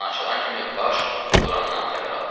Hava kranı açılan kimi baş Lorandan xəbər aldı.